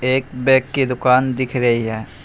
ये एक बैग की दुकान दिख रही है।